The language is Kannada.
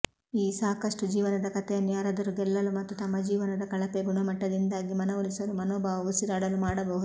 ಈ ಸಾಕಷ್ಟು ಜೀವನದ ಕಥೆಯನ್ನು ಯಾರಾದರೂ ಗೆಲ್ಲಲು ಮತ್ತು ತಮ್ಮ ಜೀವನದ ಕಳಪೆ ಗುಣಮಟ್ಟದಿಂದಾಗಿ ಮನವೊಲಿಸಲು ಮನೋಭಾವ ಉಸಿರಾಡಲು ಮಾಡಬಹುದು